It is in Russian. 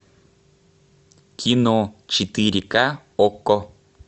кино четыре ка окко